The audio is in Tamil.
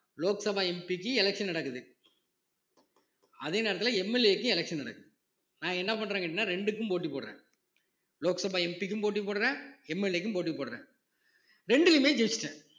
லோக் சபா MP க்கு election நடக்குது அதே நேரத்துல MLA க்கு election நடக்குது நான் என்ன பண்றே கேட்டீங்கன்னா ரெண்டுக்கும் போட்டி போடுறேன் லோக்சபா MP க்கும் போட்டி போடுறேன் MLA க்கும் போட்டி போடுறேன் இரண்டுலயுமே ஜெயிச்சுட்டேன்